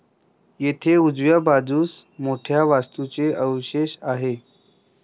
येथे उजव्या बाजूस मोठ्या वास्तूचे अवशेष आहेत.